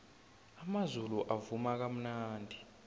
amazulu avuma kamnandi